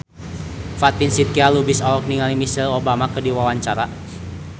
Fatin Shidqia Lubis olohok ningali Michelle Obama keur diwawancara